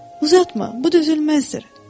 Uzatma, bu düzülməzdir.